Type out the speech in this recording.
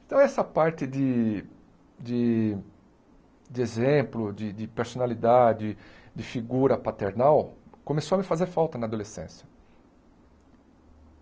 Então, essa parte de de de exemplo, de de personalidade, de figura paternal, começou a me fazer falta na adolescência.